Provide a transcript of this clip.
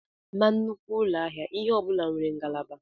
Na nnukwu ụlọ ahịa, ihe ọ bụla nwere ngalaba.